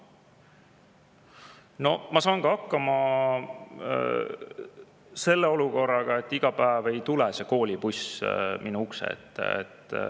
No ma saan ka hakkama selle olukorraga, et iga päev ei tule koolibuss minu ukse ette.